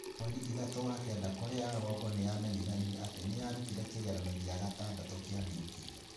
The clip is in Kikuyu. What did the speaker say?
Mweri thatu wa kenda Korea ya rũgongo nĩ yamenyithanirie atĩ nĩ yarutire kĩgeranio gĩa gatandatũ kia nuclear.